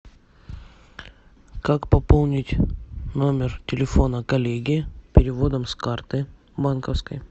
как пополнить номер телефона коллеги переводом с карты банковской